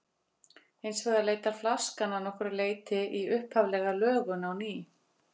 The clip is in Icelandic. Hins vegar leitar flaskan að nokkru leyti í upphaflega lögun á ný.